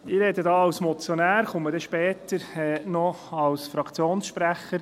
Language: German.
Ich spreche jetzt als Motionär und komme dann später noch als Fraktionssprecher.